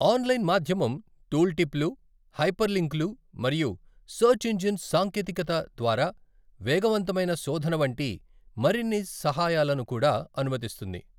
Online మాధ్యమం టూల్టిప్లు, హైపర్లింక్లు మరియు సెర్చ్ ఇంజిన్ సాంకేతికత ద్వారా వేగవంతమైన శోధన వంటి మరిన్ని సహాయాలను కూడా అనుమతిస్తుంది.